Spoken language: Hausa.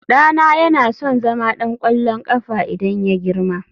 ɗana yana son zama ɗan ƙwallon ƙafa idan ya girma